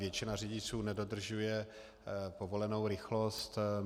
Většina řidičů nedodržuje povolenou rychlost.